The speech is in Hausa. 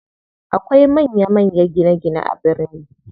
Akwai manya manya gine gine a birni.